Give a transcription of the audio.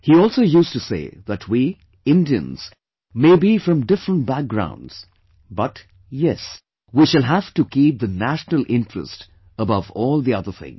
He also used to say that we, Indians may be from different background but, yes, we shall have to keep the national interest above all the other things